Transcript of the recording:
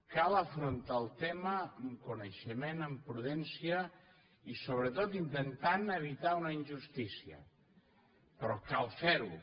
cal afrontar el tema amb coneixement amb prudència i sobretot intentant evitar una injustícia però cal fer ho